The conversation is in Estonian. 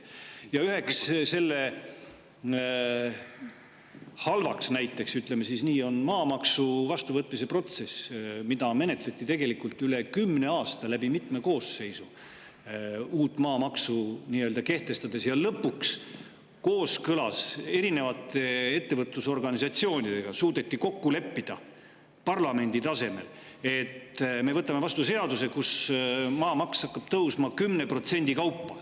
Ja üheks selle halvaks näiteks, ütleme siis nii, on maamaksu vastuvõtmise protsess, mida menetleti tegelikult üle kümne aasta, läbi mitme koosseisu uut maamaksu kehtestades, ja lõpuks kooskõlas erinevate ettevõtlusorganisatsioonidega suudeti kokku leppida parlamendi tasemel, et me võtame vastu seaduse, kus maamaks hakkab tõusma 10% kaupa.